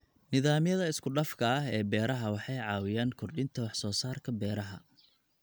Nidaamyada isku dhafka ah ee beeraha waxay caawiyaan kordhinta wax soo saarka beeraha.